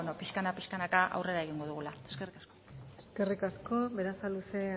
pixkana pixkanaka aurrera egingo dugula eskerrik asko eskerrik asko berasaluze